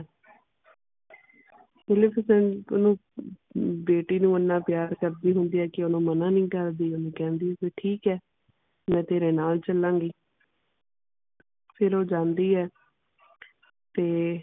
Maleficent ਓਹਨੂ ਅਹ ਬੇਟੀ ਨੂੰ ਇੰਨਾ ਪਿਆਰ ਕਰਦੀ ਹੁੰਦੀ ਆ ਕੇ ਓਹਨੂੰ ਮਨਾਂ ਨਹੀਂ ਕਰਦੀ ਵੀ ਓਹਨੂੰ ਕਹਿੰਦੀ ਵੀ ਠੀਕ ਹੈ ਮੈਂ ਤੇਰੇ ਨਾਲ ਚਲਾਂਗੀ ਫਿਰ ਓ ਜਾਂਦੀ ਹੈ ਤੇ